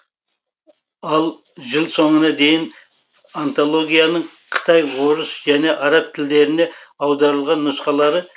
ал жыл соңына дейін антологияның қытай орыс және араб тілдеріне аударылған нұсқалары